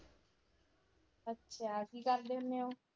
ਅੱਛਾ ਕੀ ਕਰਦੇ ਹੁੰਨੇ ਓ?